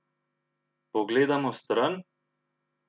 Pogledamo stran?